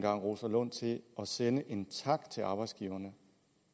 rosa lund til at sende en tak til arbejdsgiverne